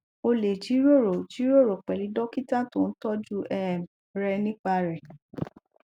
o le jiroro jiroro pelu dokita to n toju um renipa re